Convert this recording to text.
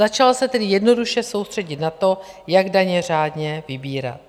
Začal se tedy jednoduše soustředit na to, jak daně řádně vybírat.